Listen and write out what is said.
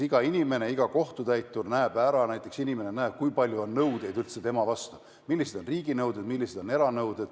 Iga kohtutäitur näeb ja ka inimene ise näeb, kui palju nõudeid tema vastu ülal on: millised on riigi nõuded, millised on eranõuded.